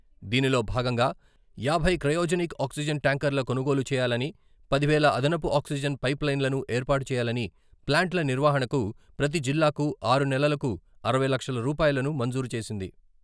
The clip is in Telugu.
దీనిలో భాగంగా.... యాభై క్రయోజనిక్ ఆక్సిజన్ ట్యాంకర్ల కొనుగోలు చేయాలని, పది వేల అదనపు ఆక్సిజన్ పైపులైన్లను ఏర్పాటు చేయాలని, ప్లాంట్ల నిర్వహణకు ప్రతి జిల్లాకు ఆరు నెలలకు అరవై లక్షల రూపాయలను మంజూరు చేసింది.